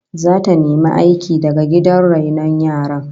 Zata nemi aiki da gidan rainon yaran